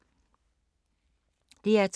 DR2